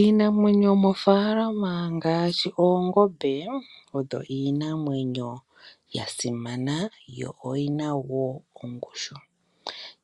Iinamwenyo yomofaalama ngaashi oongombe odho iinamwenyo yasimana yo oyina woo ongushu.